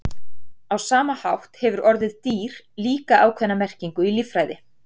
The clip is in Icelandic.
Á sama hátt hefur orðið dýr líka ákveðna merkingu í líffræði.